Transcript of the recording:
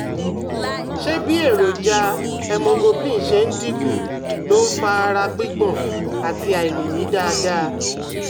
Ṣé bí èròjà hemoglobin ṣe dín kù ló ń ń fa ara gbígbọ̀n àti àìlèmí dáadáa?